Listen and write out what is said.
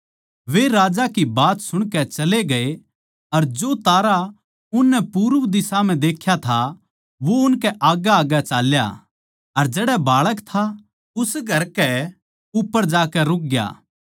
वे राजा की बात सुणकै चले गए अर जो तारा उननै पूरब दिशा म्ह देख्या था वो उनकै आग्गैआग्गै चाल्या अर जड़ै बाळक था उस घर कै उप्पर जाकै रुक ग्या